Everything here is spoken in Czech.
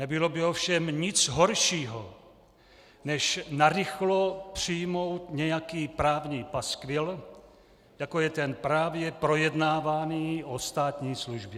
Nebylo by ovšem nic horšího než narychlo přijmout nějaký právní paskvil, jako je ten právě projednávaný o státní službě.